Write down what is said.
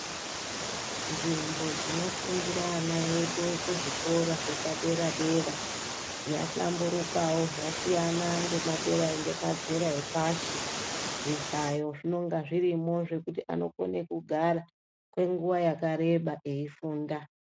Nzvimbo dzinofundira ana edu kuzvikora zvepadera-dera, yahlamburukawo, zvasiyana ngemadera ngemazera epashi. Zvihlayo zvinonga zvirimo zvekuti anokone kugara, kwenguwa yakareba eifunda.